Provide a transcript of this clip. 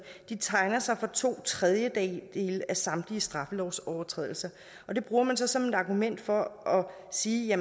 tegner sig for to tredjedele af samtlige straffelovsovertrædelser og det bruger man så som et argument for at sige at